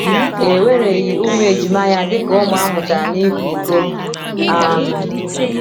E wereghị ụmụ ejima ya dị ka ụmụ a mụtara n’ịkwa iko. um